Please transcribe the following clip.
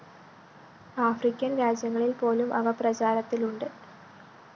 African‍ രാജ്യങ്ങളില്‍ പോലും അവ പ്രചാരത്തിലുണ്ട്